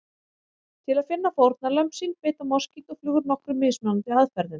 Til að finna fórnarlömb sín beita moskítóflugur nokkrum mismunandi aðferðum.